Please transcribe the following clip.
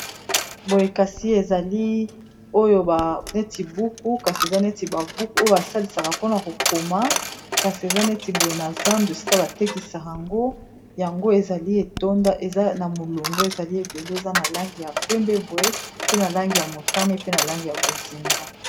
boyekasi ezali oyo baneti buku kasi eza neti babuku oyo basalisaka mpona kokoma kasi eza neti boye na zan dou sika batekisaka yango yango ezali etonda eza na molongo ezali ebele eza na langi ya pembeboe pe na langi ya motane pe na langi ya kozinga